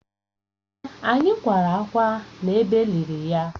Èè, anyị kwara ákwá n’ebe e liri ya